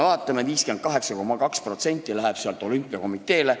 Vaatame, 58,2% läheb sealt olümpiakomiteele.